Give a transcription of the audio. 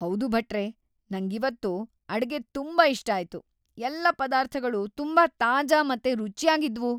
ಹೌದು ಭಟ್ರೇ, ನಂಗಿವತ್ತು ಅಡ್ಗೆ ತುಂಬಾ ಇಷ್ಟ ಆಯ್ತು. ಎಲ್ಲ ಪದಾರ್ಥಗಳೂ ತುಂಬಾ ತಾಜಾ ಮತ್ತೆ ರುಚ್ಯಾಗಿದ್ವು.